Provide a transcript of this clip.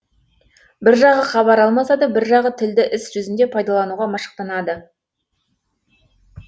бір жағы хабар алмасады бір жағы тілді іс жүзінде пайдалануға машықтанады